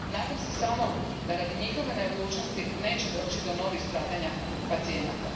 Nadam se samo da radi njihove neodlučnosti neće doći do novih stradanja pacijenata.